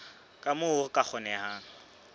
ka moo ho ka kgonehang